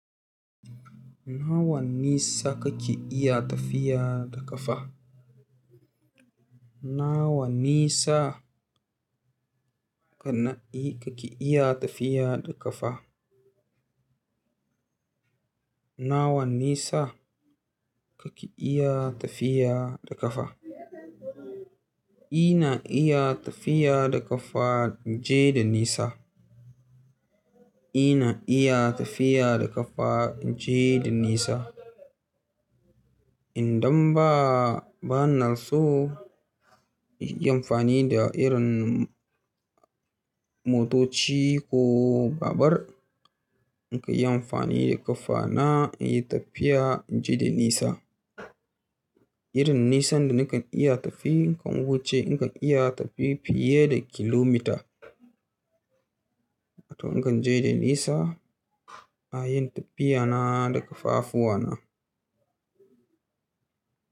Nawa nisa kake iya tafiya da ƙafa? Nawa nisa ka na kake iya tafiya da ƙafa? Nawa nisa kake iya tafiya da ƙafa? Ina iya tafiya da ƙafa, inje da nisa. Ina iya tafiya da ƙafa inje da nisa. Idan ba, ba na so in yi amfani da irin motoci ko babur. In ka yi amfani da ƙafa na iya tafiya inje da nisa. Irin nisan da nakan iya tafi in wuce, in kan iya tafi fiye da kilomita. In kan je da nisa, a yin tafiya na da ƙafafuwa na.